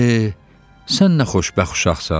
Ey, sən nə xoşbəxt uşaqsan?